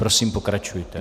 Prosím, pokračujte.